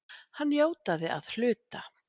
Hann játaði að hluta